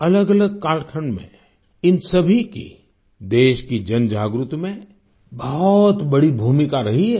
अलगअलग कालखंड में इन सभी की देश की जनजागृति में बहुत बड़ी भूमिका रही है